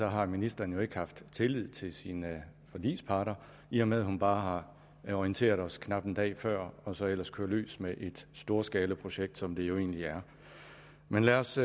har ministeren ikke haft tillid til sine forligsparter i og med at hun bare har orienteret os knap en dag før og så ellers kører løs med et storskalaprojekt som det jo egentlig er men lad os